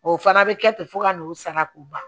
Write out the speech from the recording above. O fana bɛ kɛ ten fo ka n'o sara k'o ban